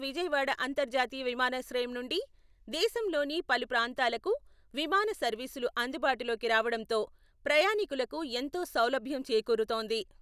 విజయవాడ అంతర్జాతీయ విమానాశ్రయం నుండి దేశంలోని పలు ప్రాంతాలకు విమాన సర్వీసులు అందుబాటులోకి రావడంతో ప్రయాణీకులకు ఎంతో సౌలభ్యం చేకూరుతోంది.